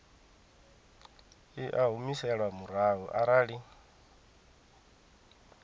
i a humiselwa murahu arali